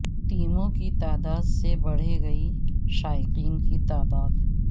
ٹیموں کی تعداد سے بڑھے گی شائقین کی تعداد